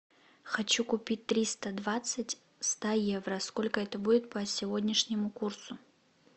хочу купить триста двадцать ста евро сколько это будет по сегодняшнему курсу